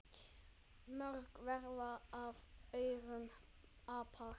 Mörg verða af aurum apar.